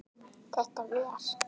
Þetta ver?